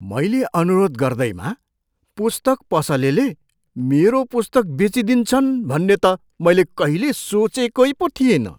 मैले अनुरोध गर्दैमा पुस्तक पसलेले मेरो पुस्तक बेचिदिन्छन् भन्ने त मैले कहिल्यै सोचेकै पो थिइनँ!